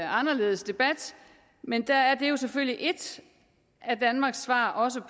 anderledes debat men det er selvfølgelig et af danmarks svar også